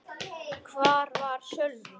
Hvar var Sölvi?